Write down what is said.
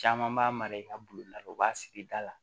Caman b'a mara i ka bulonda la u b'a sigi da la